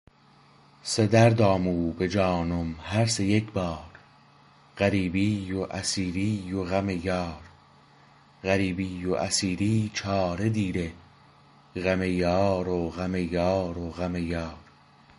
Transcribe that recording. سه درد آمو به جانم هر سه یکبار غریبی و اسیری و غم یار غریبی و اسیری چاره دیره غم یار و غم یار و غم یار